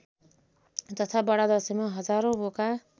तथा बडादशैँमा हजारौँ बोका